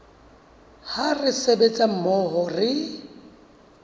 ha re sebetsa mmoho re